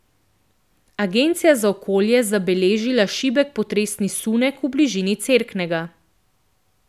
Agencija za okolje zabeležila šibek potresni sunek v bližini Cerknega.